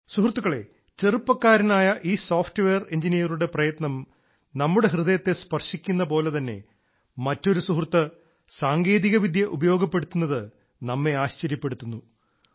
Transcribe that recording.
സുഹൃത്തുക്കളെ ചെറുപ്പക്കാരനായ ഈ സോഫ്റ്റ് വെയർ എൻജിനീയറുടെ പ്രയത്നം നമ്മുടെ ഹൃദയത്തെ സ്പർശിക്കുന്ന പോലെതന്നെ മറ്റൊരു സുഹൃത്ത് സാങ്കേതികവിദ്യ ഉപയോഗപ്പെടുത്തുന്നത് നമ്മെ ആശ്ചര്യപ്പെടുത്തുന്നു